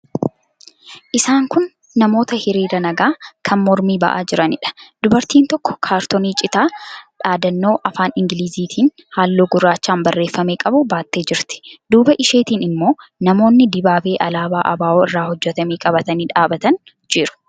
Isaan kun namoota hiriira nagaa kan mormii ba'aa jiraniidha. Dubartiin tokko kaartoonii citaa dhaadannoo afaan Ingilizitiin, halluu gurraachaan barreeffame qabu baattee jirti. Duuba isheetiin immoo namoonni dibaabee alaabaa ABO irraa hojjetame qabatanii dhaabbatanii jiru.